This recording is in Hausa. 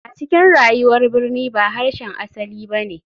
A cikin rayuwar birni ba harshen asali ba ne.